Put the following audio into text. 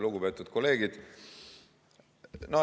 Lugupeetud kolleegid!